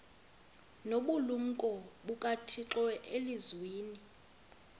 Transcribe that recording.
nobulumko bukathixo elizwini